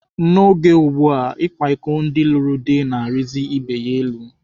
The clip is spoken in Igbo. Oge ugbua, ịkwa iko ndị lụrụ di na-arizi ibe ya elu.